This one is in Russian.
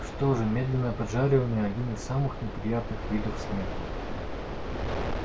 что же медленное поджаривание один из самых неприятных видов смерти